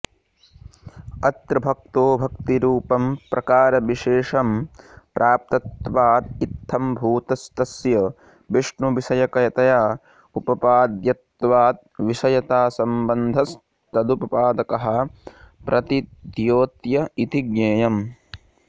अत्र भक्तो भक्तिरूपं प्रकारविशेषं प्राप्तत्वादित्थम्भूतस्तस्य विष्णुविषयकतया उपपाद्यत्वाद्विषयतासंबन्धस्तदुपपादकः प्रतिद्योत्य इति ज्ञेयम्